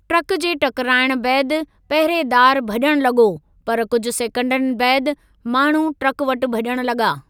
Truck जे टकराइणु बैदि पहरेदार भज॒णु लॻो, पर कुझु सेकंडनि बैदि माण्हू ट्रक वटि भज॒ण लॻा।